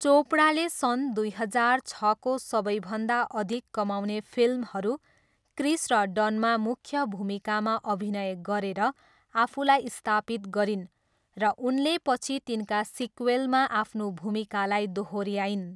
चोपडाले सन् दुई हजार छको सबैभन्दा अधिक कमाउने फिल्महरू क्रिस र डनमा मुख्य भूमिकामा अभिनय गरेर आफूलाई स्थापित गरिन्, र उनले पछि तिनका सिक्वेलमा आफ्नो भूमिकालाई दोहोऱ्याइन्।